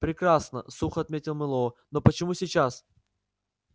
прекрасно сухо ответил мэллоу но почему сейчас